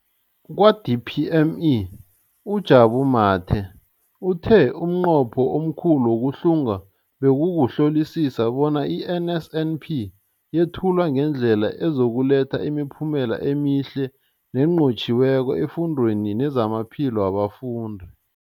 Kwa-DPME, uJabu Mathe, uthe umnqopho omkhulu wokuhlunga bekukuhlolisisa bona i-NSNP yethulwa ngendlela ezokuletha imiphumela emihle nenqotjhiweko efundweni nezamaphilo wabafundi.